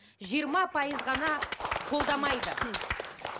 жиырма пайыз ғана қолдамайды